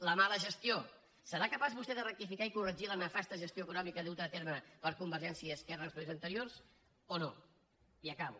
la mala gestió serà capaç vostè de rectificar i corregir la nefasta gestió econòmica duta a terme per convergència i esquerra en els períodes anteriors o no i acabo